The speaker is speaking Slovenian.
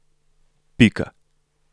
Pika.